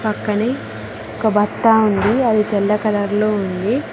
పక్కనే ఒక బట్ట ఉంది అది తెల్ల కలర్ లో ఉంది.